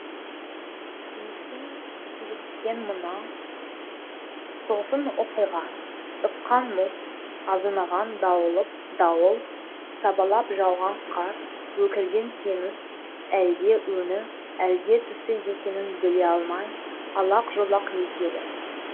кенеттен киліккен мына тосын оқиға ыққан мұз азынаған дауыл сабалап жауған қар өкірген теңіз әлде өңі әлде түсі екенін біле алмай алақ жұлақ етеді